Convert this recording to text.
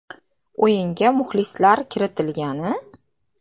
O‘yinga muxlislar kiritilgani?